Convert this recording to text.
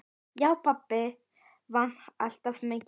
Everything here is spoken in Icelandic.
Já, pabbi vann alltaf mikið.